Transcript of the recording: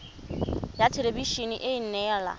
ya thelebi ene e neela